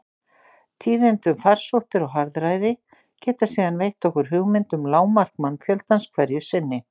Tíðindi um farsóttir og harðæri geta síðan veitt okkur hugmynd um lágmark mannfjöldans hverju sinni.